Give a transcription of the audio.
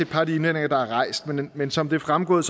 par af de indvendinger der er rejst men men som det er fremgået